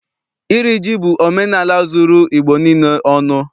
Iri ji bụ omenaala zuru Igbo niile ọnụ.